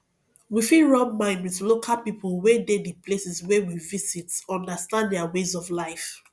we fit rub mind with local people wey dey di places wey we visit understand their ways of life